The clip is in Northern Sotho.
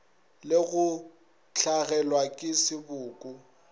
le go hlagelwa ke seboko